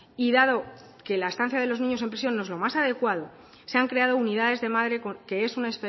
y dado que la estancia de los niños en prisión no es lo más adecuado se han creado unidades de madre que es una